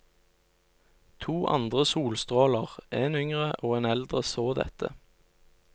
To andre solstråler, en yngre og en eldre, så dette.